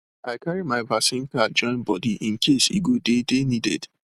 i carry my vaccine card join body incase e go dey dey needed